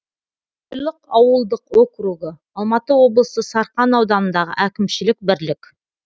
қойлық ауылдық округі алматы облысы сарқан ауданындағы әкімшілік бірлік